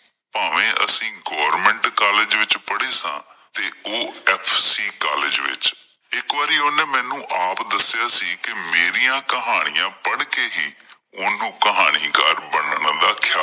ਭਾਵੇਂ ਅਸੀਂ government college ਵਿੱਚ ਪੜੇ ਸਾਂ ਤੇ ਉਹ FC college ਵਿੱਚ ਇੱਕ ਵਾਰੀ ਉਂਨੇ ਮੈਂਨੂੰ ਆਪ ਦੱਸਿਆਂ ਸੀ ਕਿ ਮੇਰਿਆਂ ਕਹਾਣੀਆਂ ਪੜ ਕਿ ਹੀ ਉਹਨੂੰ ਕਹਾਣੀਕਾਰ ਬਣਨ ਦਾ ਖਿਆਲ ਆਇਆ